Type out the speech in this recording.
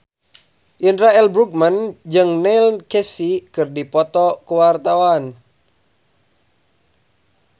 Indra L. Bruggman jeung Neil Casey keur dipoto ku wartawan